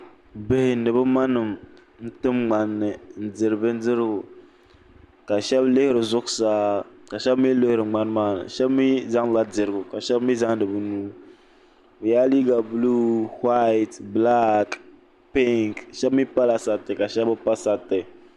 Bihi ni bɛ manima n-tim n-diri bindirigu ka shɛba lihiri zuɣusaa ka shɛba mi lihiri ŋmani maa ni shɛba zaŋla dirigu ka shɛba bɛ nuhi bɛ yela liiga buluu whayiti bilaaki pinki shɛba pa sariti shɛba mi bi pa sariti.